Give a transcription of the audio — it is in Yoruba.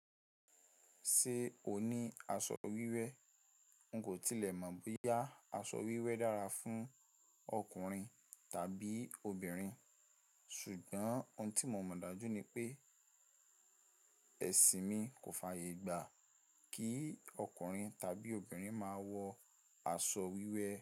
Ṣé o ní aṣọ wíwé? N kò tilẹ̀ mọ̀ bóyá aṣọ wíwé dára fún ọkùnrin tàbí obìnrin, ṣùgbọ́n ohun tí mo mọ̀ dájú ni pé, ẹṣin mi kò fàyè gbà kí ọkùnrin tàbí obìnrin máa wọ aṣọ wíwé.